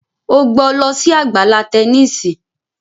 o gbó ló sì Àgbàlá Tẹníìsì!